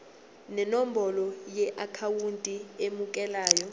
nenombolo yeakhawunti emukelayo